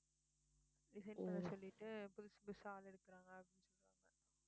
resign பண்ண சொல்லிட்டு புதுசு புதுசா ஆள் எடுக்குறாங்க